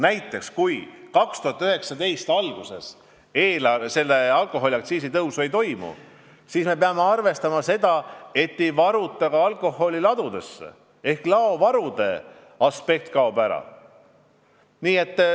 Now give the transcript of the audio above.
Näiteks, kui 2019. aasta alguses alkoholiaktsiisi tõusu ei toimu, siis me peame arvestama, et alkoholi ei varuta ka ladudesse ehk laovarude aspekt kaob ära.